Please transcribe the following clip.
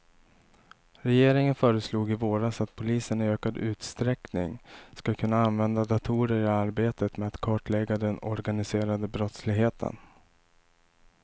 Regeringen föreslog i våras att polisen i ökad utsträckning ska kunna använda datorer i arbetet med att kartlägga den organiserade brottsligheten.